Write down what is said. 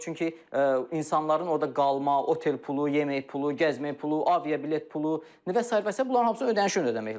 çünki insanların orda qalma, otel pulu, yemək pulu, gəzmək pulu, aviabilet pulu və sair və sair bunların hamısı ödəniş ödəmək lazımdır.